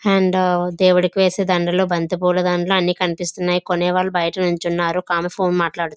And దేముడు వేసే దడలు బంతి పూల దండలు అన్ని కనిపిస్తున్నాయి. కొనేవాళ్లు బయట నించున్నారు ఒక ఆమె ఫోన్ మాటలు మాట్లాడుతుంది.